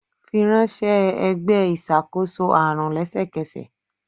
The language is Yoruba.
firanṣẹ ẹgbẹ iṣakoso arun lẹsẹkẹsẹ!